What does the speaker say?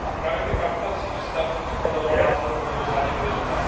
A právě ta parkovací místa jsou, podle mého názoru, mimořádně důležitá.